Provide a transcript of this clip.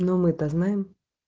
но мы то знаем